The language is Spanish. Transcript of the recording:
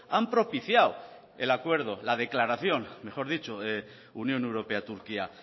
han propiciado el acuerdo la declaración mejor dicho unión europea turquía